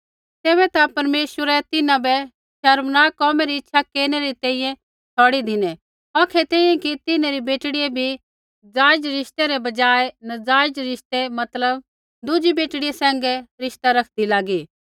तैबै ता परमेश्वरै तिन्हां बै शर्मनाक कोमै री इच्छा केरनै री तैंईंयैं छ़ौड़ी धिनै औखै तैंईंयैं कि तिन्हैं री बेटड़ियै भी जायज रिश्ते रै बजाय नज़ायज़ रिश्ते मतलब दुज़ी बेटड़ियां सैंघै रिश्ता रखदी लागी